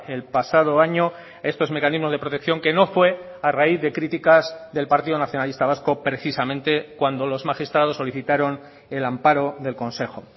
el pasado año estos mecanismos de protección que no fue a raíz de críticas del partido nacionalista vasco precisamente cuando los magistrados solicitaron el amparo del consejo